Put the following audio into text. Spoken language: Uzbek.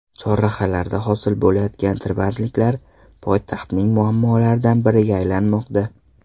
Chorrahalarda hosil bo‘layotgan tirbandliklar poytaxtning muammolaridan biriga aylanmoqda.